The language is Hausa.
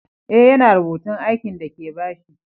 Eh, ya na rubutun aikin de ka ba shi.